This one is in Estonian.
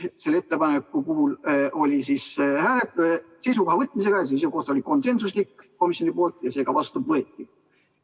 Selle ettepaneku puhul oli tegemist seisukoha võtmisega, seisukoht oli konsensuslik ja see ka vastu võeti.